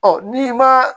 n'i ma